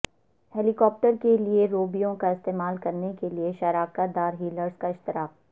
ہیلی copter کے لئے روبیوں کا استعمال کرنے کے لئے شراکت دار ہیلالرز کا اشتراک